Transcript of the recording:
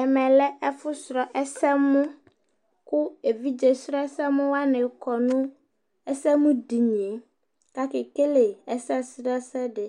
Ɛmɛ lɛ ɛfu srɔ̃ ɛsɛmuKu evidze srɔ̃ ɛsɛmu waní kɔ nu ɛsɛmuɖini yɛ Ku ake kele ɛsɛsrɔ̃ ɛsɛ ɖi